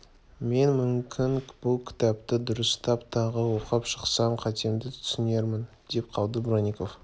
мен мүмкін бұл кітапты дұрыстап тағы оқып шықсам қатемді түсінермін деп қалды бронников